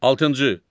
Altıncı.